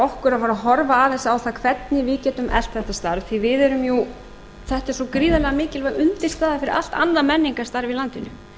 okkur að fara að horfa aðeins á það hvernig við getum eflt þetta starf því þetta er svo gríðarlega mikilvæg undirstaða fyrir allt annað menningarstarf í landinu